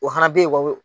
O fana bɛ ye wa